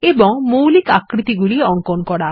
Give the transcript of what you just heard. এবং মৌলিক আকৃতিগুলি অঙ্কন করা